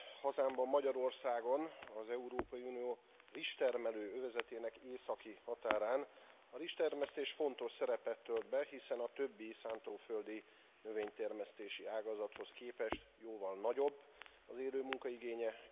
Hazámban, Magyarországon, az Európai Unió rizstermelő övezetének északi határán a rizstermesztés fontos szerepet tölt be, hiszen a többi szántóföldi növénytermesztési ágazathoz képest jóval nagyobb az élőmunka igénye.